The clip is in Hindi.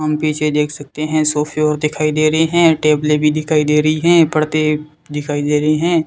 हम पीछे देख सकते हैं सोफे और दिखाई दे रहे हैं टेबले भी दिखाई दे रही है पर्दे दिखाई दे रहे हैं।